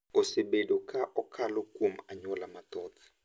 osebedo ka okalo kuom anyuola mathoth,